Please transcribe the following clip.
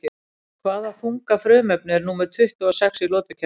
Hvaða þunga frumefni er númer tuttugu og sex í lotukerfinu?